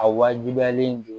A wajibiyalen don